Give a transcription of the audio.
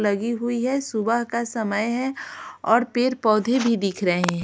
लगी हुई है सुबह का समय है और पेर पौधे भी दिख रहे हैं।